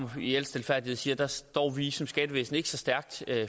i al stilfærdighed sige at der står vi som skattevæsen ikke så stærkt